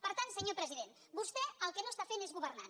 per tant senyor president vostè el que no està fent és governar